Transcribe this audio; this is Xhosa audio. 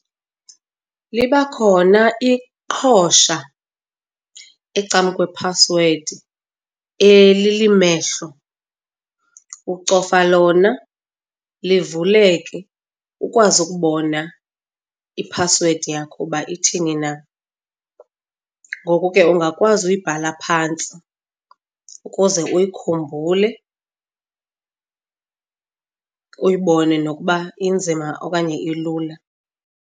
Liba khona iqhosha ecam kwephasiwedi elilimehlo ucofa lona livuleleke ukwazi ukubona iphasiwedi yakho uba ithini na, ngoko ke ungakwazi uyibhala phantsi ukuze uyikhumbule, uyibone nokuba inzima okanye ilula.